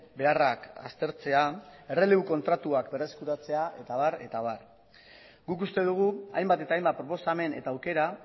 beharrak aztertzea errelebu kontratuak berreskuratzea eta abar eta abar guk uste dugu hainbat eta hainbat proposamen eta aukera